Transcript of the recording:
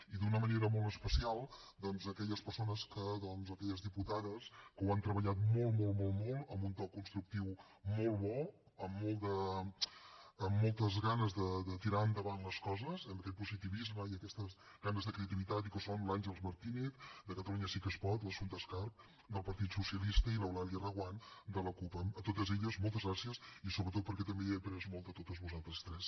i d’una manera molt especial doncs donar les gràcies a aquelles persones a aquelles diputades que ho han treballat molt molt molt en un to constructiu molt bo amb moltes ganes de tirar endavant les coses amb aquest positivisme i aquestes ganes de creativitat i que són l’àngels martínez de catalunya sí que es pot l’assumpta escarp del partit socia lista i l’eulàlia reguant de la cup a totes elles moltes gràcies i sobretot perquè també he après molt de vosaltres tres